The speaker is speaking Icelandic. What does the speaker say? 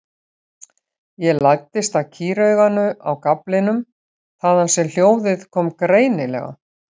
Ég læddist að kýrauganu á gaflinum þaðan sem hljóðið kom greinilega.